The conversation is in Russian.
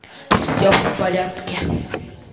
все в порядке